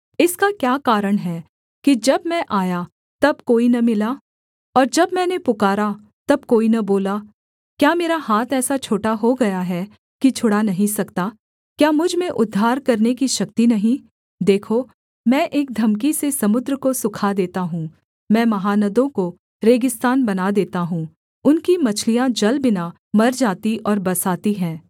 इसका क्या कारण है कि जब मैं आया तब कोई न मिला और जब मैंने पुकारा तब कोई न बोला क्या मेरा हाथ ऐसा छोटा हो गया है कि छुड़ा नहीं सकता क्या मुझ में उद्धार करने की शक्ति नहीं देखो मैं एक धमकी से समुद्र को सूखा देता हूँ मैं महानदों को रेगिस्तान बना देता हूँ उनकी मछलियाँ जल बिना मर जाती और बसाती हैं